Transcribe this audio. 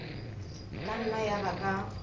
ka nna ya ba ka